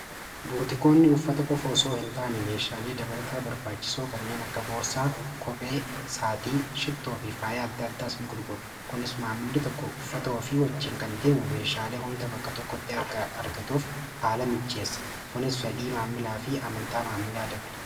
Buutikoonni uffata kofoo osoo hin taane meeshaalee dabalataa barbaachisoo kanneen akka boorsaa kophee saatii shittoo fi faaya adda addaas in gurgura kunis maammili tokko uffatao fi wajjiin kan deemu meeshaalee hunda bakka tokko xeargatuuf haala mijjeessa kunis fedhii maammilaa fi amantaa maamilaa dabala.